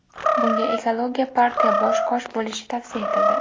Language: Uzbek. Bunga Ekologiya partiya bosh-qosh bo‘lishi tavsiya etildi.